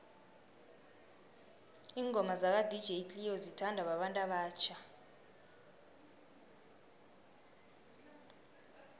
ingoma zaka dj cleo zithanwa babantu abatjha